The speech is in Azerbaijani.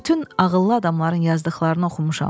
Bütün ağıllı adamların yazdıqlarını oxumuşam.